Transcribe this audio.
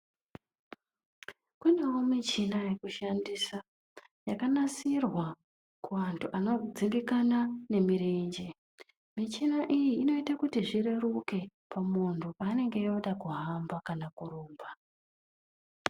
Kunewo michina yekushandisa yakanasirwa kuantu anodzimbikana nemirenje michina iyi inoita kuti zvireruke pamuntu paanonge oda kuhamba kana kurumba .